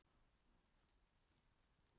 Afi hélt alltaf með Tomma.